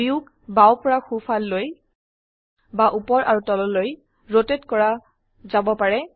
ভিউক বাও পৰা সো ফাল লৈ বা উপৰ আৰু তললৈ ৰোটেট কৰা যাব পাৰে